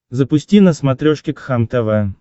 запусти на смотрешке кхлм тв